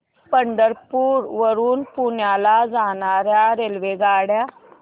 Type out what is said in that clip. पंढरपूर वरून पुण्याला जाणार्या रेल्वेगाड्या